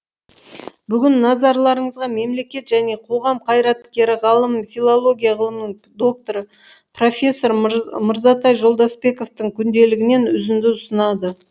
бүгін назарларыңызға мемлекет және қоғам қайраткері ғалым филология ғылымының докторы профессор мырзатай жолдасбековтің күнделігінен үзінді ұсынады